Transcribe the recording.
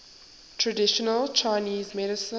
traditional chinese medicine